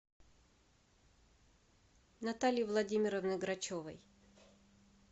натальи владимировны грачевой